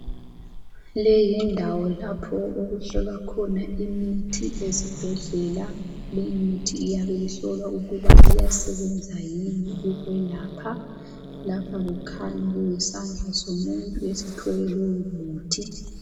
Leyindawo lapho okuhlolwa khona imithi ezibhedlela lemithi iyabe ihlolwa ukuba iyasasebenza yini ukwelapha. Lapha kukhanya isandla somuntu sithwele lowomuthi.